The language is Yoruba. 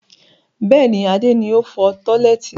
Bẹ́ẹ̀ni, Adé ni o fọ tọ́lẹ́ẹ́tì.